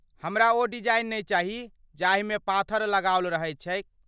हमरा ओ डिजाइन नहि चाही जाहिमे पाथर लगाओल रहैत छैक।